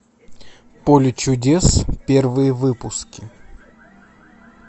поле чудес первые выпуски